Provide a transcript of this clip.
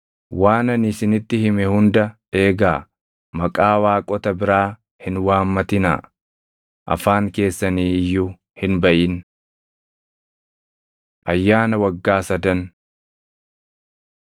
“Waan ani isinitti hime hunda eegaa; maqaa waaqota biraa hin waammatinaa; afaan keessanii iyyuu hin baʼin. Ayyaana Waggaa Sadan